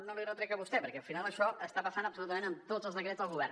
no l’hi retrec a vostè perquè al final això està passant absolutament amb tots els decrets del govern